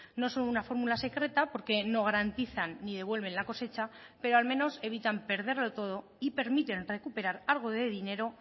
no son una fórmula secreta porque no garantizan ni devuelven la cosecha pero al menos evitan perderlo todo y permiten recuperar algo de dinero